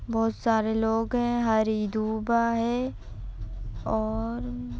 बहुत सारे लोग है हरी धूपा आ है। और --